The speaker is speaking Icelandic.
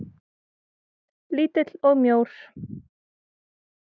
Lítill og mjór.